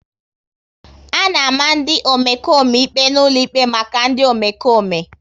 A na-ama ndị Omekome ikpe n'ụlọ ikpe maka ndị Omekome